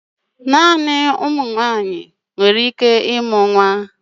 Naanị nwaanyị nwere ike ịmụ nwa